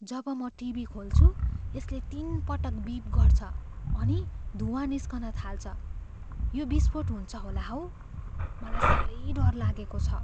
जब म टिभी खोल्छु, यसले तिनपटक बिप गर्छ अनि धुवाँ निस्कन थाल्छ। यो विस्फोट हुन्छ होला हौ। मलाई साह्रै डर लागेको छ।